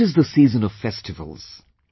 It is the season of festivals